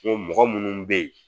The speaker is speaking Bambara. mɔgɔ munnu be yen